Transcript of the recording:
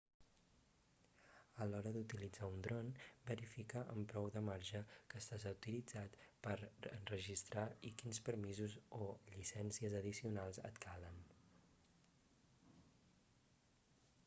a l'hora d'utilitzar un dron verifica amb prou de marge que estàs autoritzat per enregistrar i quins permisos o llicències addicionals et calen